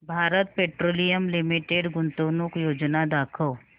Bharat petroleum limited गुंतवणूक योजना दाखव